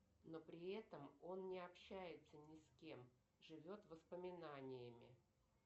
но при этом он не общается ни с кем живет воспоминаниями